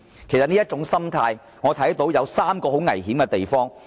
我看到這種心態其實會導致三大危險。